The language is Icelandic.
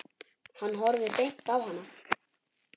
Hann horfði beint á hana.